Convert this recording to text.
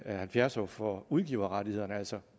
halvfjerds år for udgiverrettighederne altså